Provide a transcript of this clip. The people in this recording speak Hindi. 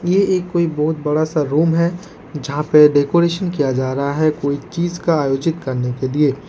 ये एक कोई बहोत बड़ा सा रूम है जहां पे डेकोरेशन किया जा रहा है कोई चीज का आयोजित करने के लिए।